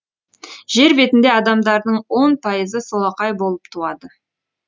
жер бетінде адамдардың он пайызы солақай болып туады